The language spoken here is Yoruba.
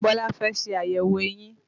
Bọlá fẹ́ ṣe àyẹ̀wò eyín